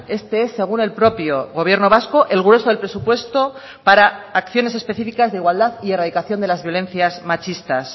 este es según el propio gobierno vasco el grueso del presupuesto para acciones específicas de igualdad y erradicación de las violencias machistas